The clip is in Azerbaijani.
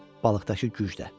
balıqdakı gücdə.